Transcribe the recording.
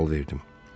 sual verdim.